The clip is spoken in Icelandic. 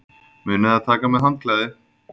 Munið að taka með handklæði!